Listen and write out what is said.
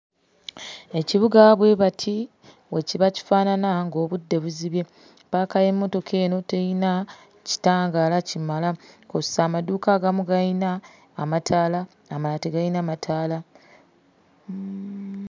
EKibuga bwe bati bwe kiba kifaanana ng'obudde buzibye. Ppaaka y'emmotoka eno terina kitangaala kimala okugeza amaduuka agamu galina amataala amalala tegalina mataala.